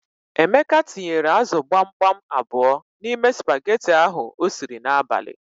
Emeka tinyere ázụ̀ gbamgbam abụọ n'ime spageti ahụ o siri n'abalị.